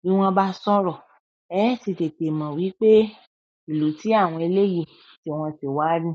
bí wọ́n bá sọ̀rọ̀. Ẹ ti tètè mọ̀ wípé ìlú tí àwọn eléèyì tí wọ́n ti wá ni.